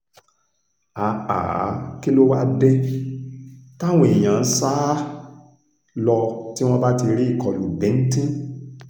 um kí ló wáá dé táwọn èèyàn ń sá um lọ tí wọ́n bá ti rí ìkọlù bíńtín